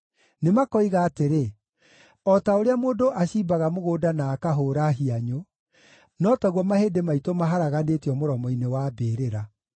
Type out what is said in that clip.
Nĩmakoiga atĩrĩ, “O ta ũrĩa mũndũ acimbaga mũgũnda na akahũũra hianyũ, no taguo mahĩndĩ maitũ maharaganĩtio mũromo-inĩ wa mbĩrĩra.”